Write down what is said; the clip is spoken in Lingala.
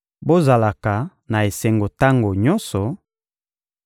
Bozalaka na esengo tango nyonso;